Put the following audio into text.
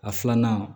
A filanan